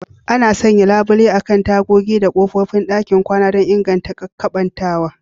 Ana sanya labule akan tagogi da kofofin ɗakin kwana don inganta keɓantawa.